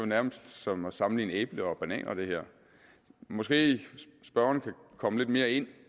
nærmest som at sammenligne æbler og bananer det her måske kan spørgeren komme lidt mere ind